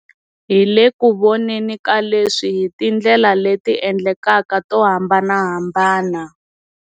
Hi le ku voneni ka leswi hi tindlela leti endlekaka to hambanahambana.